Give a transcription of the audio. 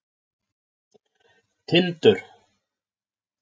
Tindur